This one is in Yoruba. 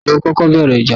Ta ni ó kọ́kọ́ bẹ̀rẹ̀ ìjà?